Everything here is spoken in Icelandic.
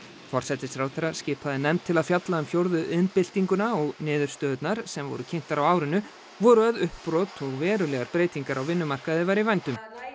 forsætisráðherra skipaði nefnd til að fjalla um fjórðu iðnbyltinguna og niðurstöðurnar sem voru kynntar á árinu voru að uppbrot og verulegar breytingar á vinnumarkaði væru í vændum